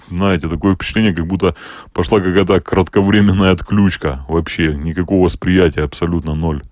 знаете такое впечатление как-будто пошла какая то кратковременная отключка вообще никакого восприятия абсолютно ноль